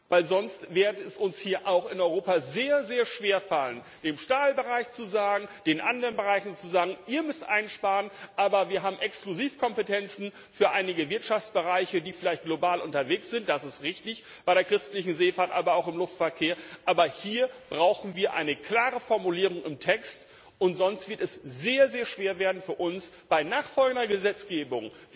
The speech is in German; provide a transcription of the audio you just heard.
Weil sonst wird es uns auch hier in Europa sehr, sehr schwer fallen, dem Stahlbereich zu sagen, den anderen Bereichen zu sagen Ihr müsst einsparen, aber wir haben Exklusivkompetenzen für einige Wirtschaftsbereiche, die vielleicht global unterwegs sind, das ist richtig bei der christlichen Seefahrt, aber auch im Luftverkehr aber hier brauchen wir eine klare Formulierung im Text. Und sonst wird es sehr, sehr schwer werden für uns, bei nachfolgender Gesetzgebung.